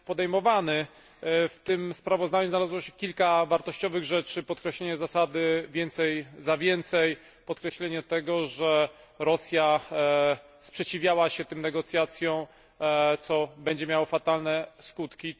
W tym sprawozdaniu znalazło się kilka wartościowych rzeczy podkreślenie zasady więcej za więcej, podkreślenie, że Rosja sprzeciwiała się tym negocjacjom, co będzie miało fatalne skutki.